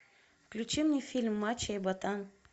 включи мне фильм мачо и ботан